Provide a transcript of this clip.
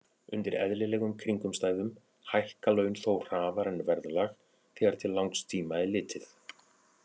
Undir eðlilegum kringumstæðum hækka laun þó hraðar en verðlag þegar til langs tíma er litið.